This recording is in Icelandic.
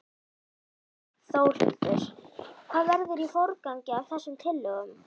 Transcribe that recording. Þórhildur: Hvað verður í forgangi af þessum tillögum?